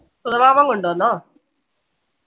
സുധമമാൻ കൊണ്ടുവന്നോ